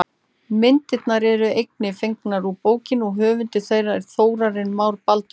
Myndirnar eru einnig fengnar úr bókinni og höfundur þeirra er Þórarinn Már Baldursson.